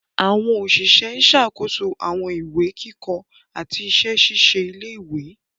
Àwọn Òṣìṣẹ́ ń ṣàkóso àwọn ìwé kíkọ àti àwọn iṣẹ ṣíṣe ilé-ìwé